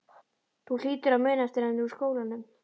Þú hlýtur að muna eftir henni úr skólanum?